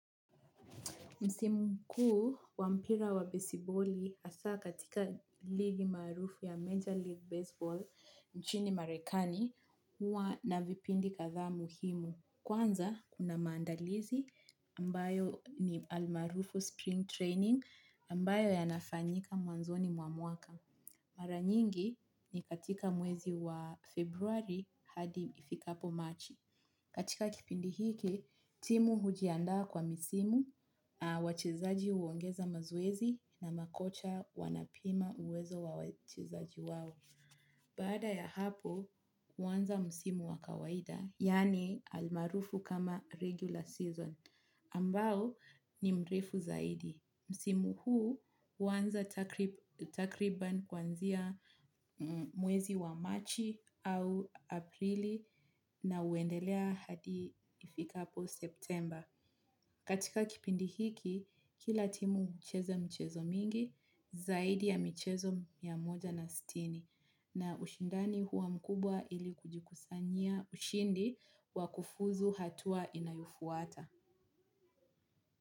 Msimu kuu wa mpira wa besiboli hasa katika ligi maarufu ya Major League Baseball nchini marekani hua na vipindi kadhaa muhimu kwanza kuna mandalizi ambayo ni almarufu spring training ambayo yanafanyika mwanzoni mwa mwaka. Mara nyingi ni katika mwezi wa Februari hadi ifikapo Machi. Katika kipindi hiki, timu hujiandaa kwa misimu, wachezaji huongeza mazoezi na makocha wanapima uwezo wachezaji wao. Baada ya hapo huwanza msimu wa kawaida yaani almarufu kama regular season, ambao ni mrefu zaidi. Msimu huu huanza takriban kwanzia mwezi wa Machi au Aprili na huendelea hadi ifikapo Septemba. Katika kipindi hiki kila timu hucheza michezo mingi zaidi ya michezo mia moja na sitini na ushindani huwa mkubwa ili kujikusanyia ushindi wa kufuzu hatua inayufuata.